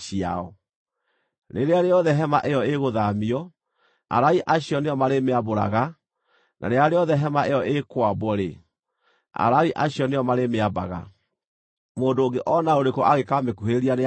Rĩrĩa rĩothe hema ĩyo ĩgũthaamio, Alawii acio nĩo marĩmĩambũraga, na rĩrĩa rĩothe hema ĩyo ĩĩkwambwo-rĩ, Alawii acio nĩo marĩmĩambaga. Mũndũ ũngĩ o na ũrĩkũ angĩkamĩkuhĩrĩria nĩakooragwo.